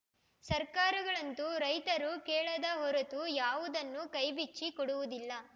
ಸರ್ಕಾರಗಳಂತೂ ರೈತರು ಕೇಳದ ಹೊರತು ಯಾವುದನ್ನೂ ಕೈ ಬಿಚ್ಚಿ ಕೊಡುವುದಿಲ್ಲ